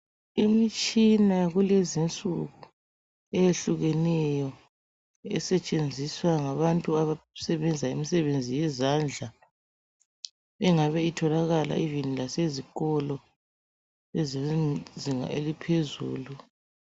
Imitshina yakulezi insuku eyehlukeneyo esetshenziswa ngabantu abasebenza imisebenzi yezandla engabe itholakala ivini lasezikolo ezezinga eliphezulu